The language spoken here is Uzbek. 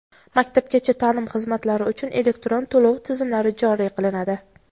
Maktabgacha ta’lim xizmatlari uchun elektron to‘lov tizimlari joriy qilinadi.